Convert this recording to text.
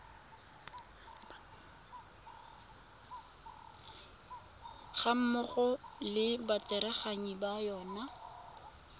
gammogo le batsereganyi ba yona